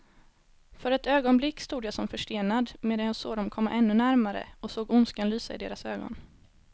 För ett ögonblick stod jag som förstenad, medan jag såg dem komma ännu närmare och såg ondskan lysa i deras ögon.